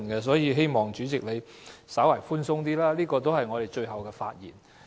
所以，我希望主席在處理上可以稍為寬鬆一點，因這是我們最後的發言。